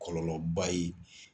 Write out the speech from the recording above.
Kɔlɔlɔ ba ye.